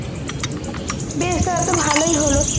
বেশ তো এটাতো ভালোই হলো